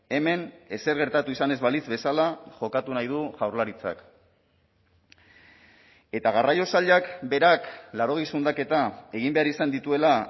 hemen ezer gertatu izan ez balitz bezala jokatu nahi du jaurlaritzak eta garraio sailak berak laurogei zundaketa egin behar izan dituela